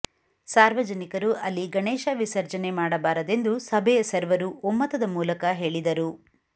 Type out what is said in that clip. ಸಾರ್ವಜನಿಕರು ಅಲ್ಲಿ ಗಣೇಶ ವಿಸರ್ಜನೆ ಮಾಡಬಾರದೆಂದು ಸಭೆಯ ಸರ್ವರು ಒಮ್ಮತದ ಮೂಲಕ ಹೇಳಿದರು